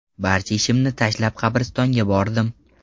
Barcha ishimni tashlab qabristonga bordim.